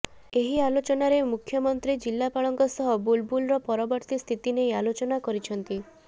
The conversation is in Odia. ଏହି ଆଲୋଚନାରେ ମୁଖ୍ୟମନ୍ତ୍ରୀ ଜିଲ୍ଲାପାଳଙ୍କ ସହ ବୁଲବୁଲର ପରବର୍ତ୍ତୀ ସ୍ଥିତି ନେଇ ଆଲୋଚନା କରିଛନ୍ତି